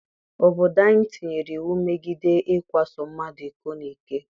Obodo anyị tinyere iwu megide ikwaso mmadụ iko n'ike.